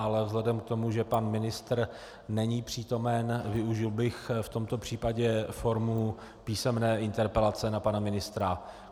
Ale vzhledem k tomu, že pan ministr není přítomen, využil bych v tomto případě formu písemné interpelace na pana ministra.